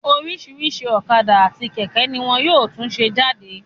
Oríṣìíríṣìí ọ̀kadà àti kẹ̀kẹ́ ní wọn yóò tún ṣe jáde.